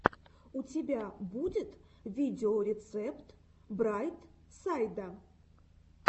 у тебя будет видеорецепт брайт сайда